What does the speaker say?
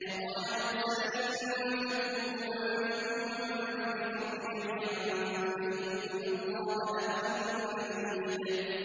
وَقَالَ مُوسَىٰ إِن تَكْفُرُوا أَنتُمْ وَمَن فِي الْأَرْضِ جَمِيعًا فَإِنَّ اللَّهَ لَغَنِيٌّ حَمِيدٌ